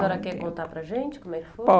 A senhora quer contar para gente como é que foi?